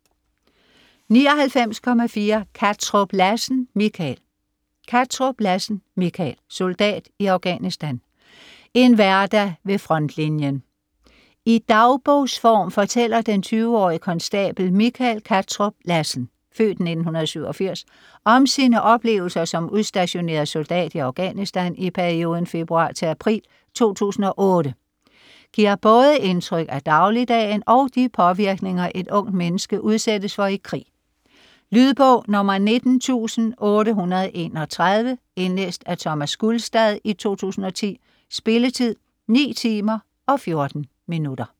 99.4 Kattrup Lassen, Michael Kattrup Lassen, Michael: Soldat i Afghanistan: en hverdag ved frontlinjen I dagbogsform fortæller den 20-årige konstabel Michael Kattrup Lassen (f. 1987) om sine oplevelser som udstationeret soldat i Afghanistan i perioden februar-april 2008. Giver både indtryk af dagligdagen og de påvirkninger, et ungt menneske udsættes for i krig. Lydbog 19831 Indlæst af Thomas Gulstad, 2010. Spilletid: 9 timer, 14 minutter.